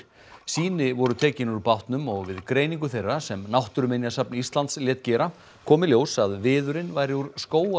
sýni voru tekin úr bátnum og við greiningu þeirra sem Náttúruminjasafn Íslands lét gera kom í ljós að viðurinn væri úr